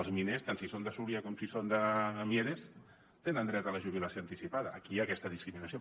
els miners tant si són de súria com si són de mieres tenen dret a la jubilació anticipada aquí hi ha aquesta discriminació